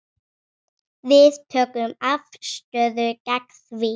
Við tökum afstöðu gegn því.